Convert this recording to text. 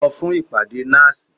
Lọ fún ìpàdé NASS!